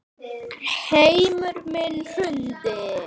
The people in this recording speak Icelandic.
Heimur minn hrundi.